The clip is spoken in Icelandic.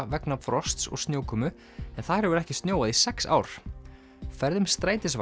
vegna frosts og snjókomu en þar hefur ekki snjóað í sex ár ferðum strætisvagna